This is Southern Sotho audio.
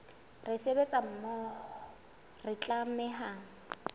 re sebetsa mmoho re tlameha